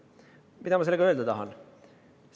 Mida ma sellega öelda tahan?